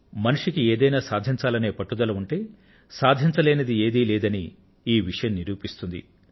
మనిషి ఏదైనా సాధించాలని పట్టు పడితే సాధించలేనిది ఏదీ లేదని ఈ విషయం నిరూపిస్తుంది